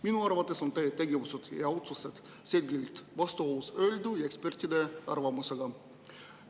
Minu arvates on teie tegevused ja otsused selgelt vastuolus öeldu ja ekspertide arvamusega.